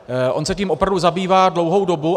On se tím opravdu zabývá dlouhou dobu.